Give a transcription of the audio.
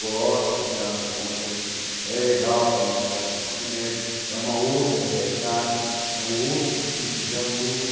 Gosto, não tenho nada contra, acho que é legal também trabalhar com o ensino médio, é uma outra realidade, é um outro tipo de aluno.